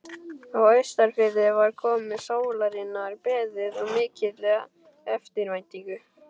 Á Austurfirði var komu sólarinnar beðið með mikilli eftirvæntingu.